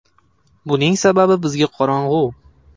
“Buning sababi bizga qorong‘u.